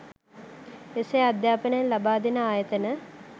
එසේ අධ්‍යාපනයක් ලබා දෙන ආයතන